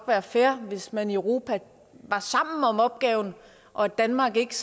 være fair hvis man i europa var sammen om opgaven og at danmark ikke